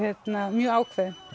mjög ákveðinn